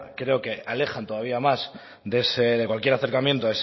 creo que alejan todavía más de cualquier acercamiento